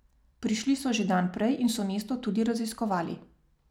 Prišli so že dan prej in so mesto tudi raziskovali.